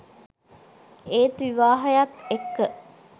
ඒත් විවාහයත් එක්ක